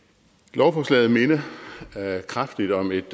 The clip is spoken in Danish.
lovforslaget minder kraftigt om et